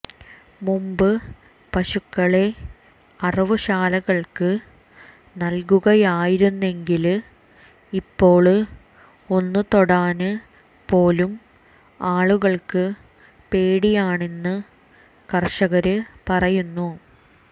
മുമ്പ് പശുക്കളെ അറവു ശാലകള്ക്ക് നല്കുകയായിരുന്നെങ്കില് ഇപ്പോള് ഒന്ന് തൊടാന് പോലും ആളുകള്ക്ക് പേടിയാണെന്ന് കര്ഷകര് പറയുന്നു